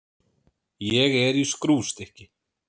Ég er í skrúfstykki.